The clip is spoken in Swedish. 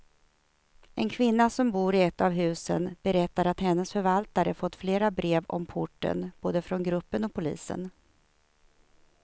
En kvinna som bor i ett av husen berättar att hennes förvaltare fått flera brev om porten, både från gruppen och polisen.